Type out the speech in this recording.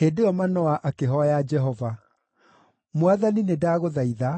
Hĩndĩ ĩyo Manoa akĩhooya Jehova: “Mwathani nĩndagũthaitha,